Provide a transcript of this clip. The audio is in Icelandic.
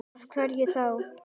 Af hverju þá?